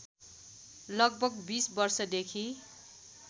लगभग २० वर्षदेखि